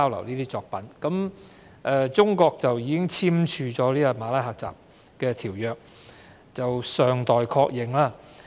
至於中國是否已經簽署《馬拉喀什條約》，則尚待確認。